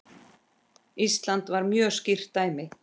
Ísland var mjög skýrt dæmi.